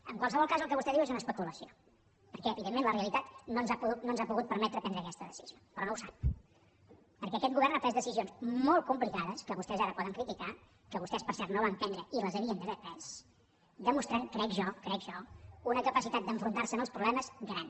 en qualsevol cas el que vostè diu és una especulació perquè evidentment la realitat no ens ha pogut permetre prendre aquesta decisió però no ho sap perquè aquest govern ha pres decisions molt complicades que vostès ara poden criticar que vostès per cert no van prendre i les havien d’haver pres i ha demostrat crec jo crec jo una capacitat d’enfrontar se als problemes gran